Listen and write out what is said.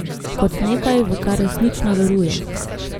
Kot nekaj, v kar resnično veruje.